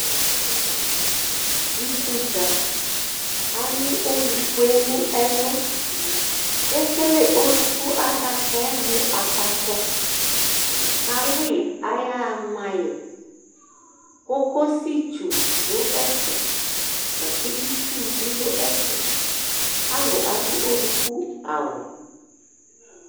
ikudza alu olukue no ɛlu ekele oluku adakaɛ mo akpatsɔ k'alò yi k'aya ɣa ma yi kokosi tsu do ɛfɛ lako itsu bi do ɛfɛ alo ado oluku awu